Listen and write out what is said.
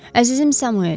Əzizim Samuel.